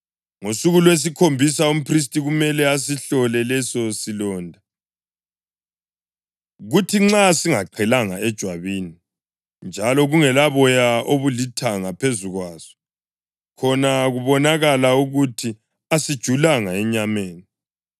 Ngosuku lwesikhombisa, umphristi kumele asihlole leso silonda, kuthi nxa singaqhelanga ejwabini, njalo kungelaboya obulithanga phezu kwaso, khona kubonakala ukuthi asijulanga enyameni,